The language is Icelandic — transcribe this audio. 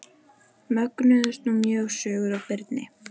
Mögnuðust nú mjög sögur af Birni.